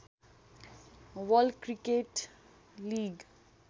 world cricket league